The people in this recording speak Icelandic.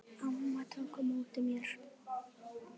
Amma tók á móti mér.